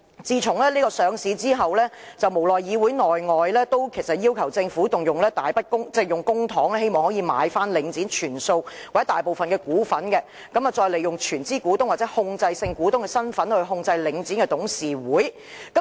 自從領展上市後，其實在議會內外也曾無奈地要求政府動用大筆公帑，購回領展全數或大部分股份，再利用全資股東或控制性股東的身份來控制領展的董事會。